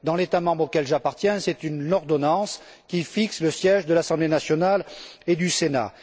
Dans l'État membre auquel j'appartiens, c'est une ordonnance qui fixe le siège de l'Assemblée nationale et du Sénat.